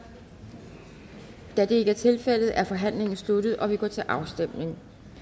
da det ikke er tilfældet er forhandlingen sluttet og vi går til afstemning